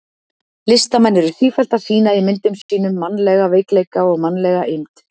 Listamenn eru sífellt að sýna í myndum sínum mannlega veikleika og mannlega eymd.